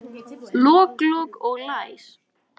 Lok, lok og læs.